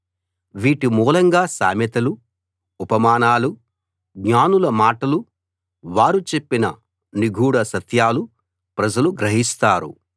వీటి మూలంగా సామెతలు ఉపమానాలు జ్ఞానుల మాటలు వారు చెప్పిన నిగూఢ సత్యాలు ప్రజలు గ్రహిస్తారు